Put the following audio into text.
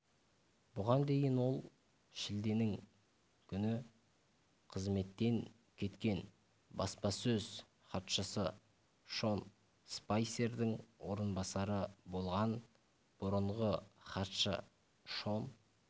бұған дейін ол шілденің күні қызметтен кеткен баспасөз хатшысы шон спайсердің орынбасары болған бұрынғы хатшы шон